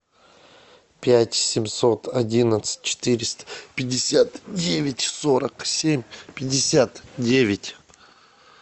пять семьсот одиннадцать четыреста пятьдесят девять сорок семь пятьдесят девять